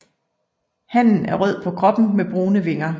Hannen er rød på kroppen med brune vinger